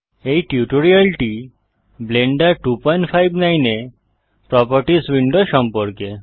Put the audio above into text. এই টিউটোরিয়ালটি ব্লেন্ডার 259 এ প্রোপার্টিস উইন্ডো সম্পর্কে